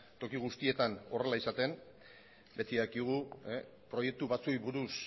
toki guztietan horrela izaten beti dakigu proiektu batzuei buruz